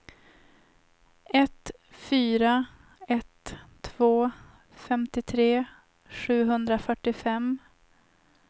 ett fyra ett två femtiotre sjuhundrafyrtiofem